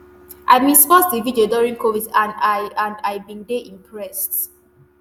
i bin spot di video during covid and i and i bin dey impressed